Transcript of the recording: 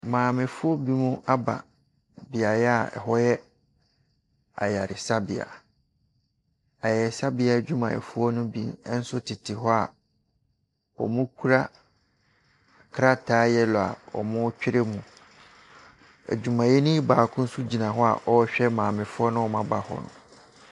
Mamefoɔ binom aba beaeɛ a ɛhɔ yɛ ayaresabea. Ayaresabea adwumayɛfoɔ no bi nso tete hɔ a wɔkura krataa yelloe a wɔretwerɛ mu. Adwumayɛni baako nso gyina hɔ a ɔrehwɛ maamefoɔ a wɔba hɔ no.